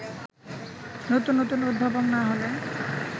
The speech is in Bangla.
নতুন নতুন উদ্ভাবন না হলে